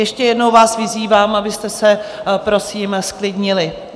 Ještě jednou vás vyzývám, abyste se prosím zklidnili.